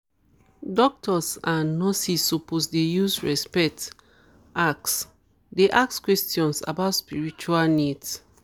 doctors and nurses suppose dey use respect ask dey ask questions about spiritual needs